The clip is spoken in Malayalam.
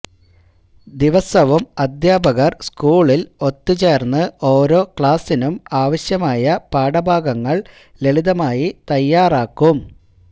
ദിവസവും അധ്യാപകർ സ്കൂളിൽ ഒത്തുചേർന്ന് ഓരോക്ലാസിനും ആവശ്യമായ പാഠഭാഗങ്ങൾ ലളിതമായി തയ്യാറാക്കും